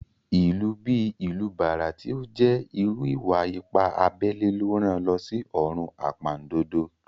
Ìlù bí ìlù bàrà tí ó jẹ́ irú ìwà-ipá abẹ́lẹ́ ló rán an lọ sí ọ̀run àpàndodo